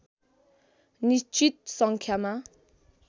निश्चित सङ्ख्या